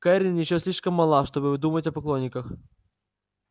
кэррин ещё слишком мала чтобы думать о поклонниках